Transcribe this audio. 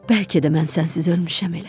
Bəlkə də mən sənsiz ölmüşəm elə.